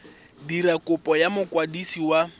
dira kopo go mokwadisi wa